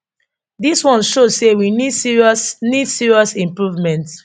dis one show say we need serious need serious improvement